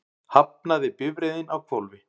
Hafnaði bifreiðin á hvolfi